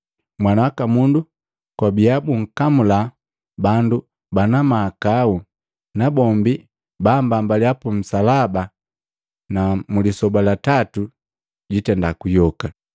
‘Mwana waka Mundu kwabia bunkamula bandu bana mahakau, nabombi bambambaliya pu nsalaba na mlisoba la tatu juyoka.’ ”